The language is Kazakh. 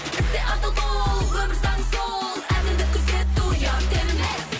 істе адал бол өмір заңы сол әділдік күзету ұят емес